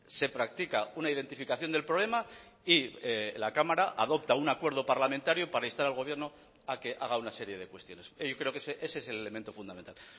se practica una identificación del problema y la cámara adopta un acuerdo parlamentario para instar al gobierno a que haga una serie de cuestiones yo creo que ese es el elemento fundamental